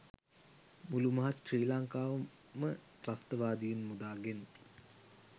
මුළු මහත් ශ්‍රී ලංකාවම ත්‍රස්තවාදයෙන් මුදාගෙන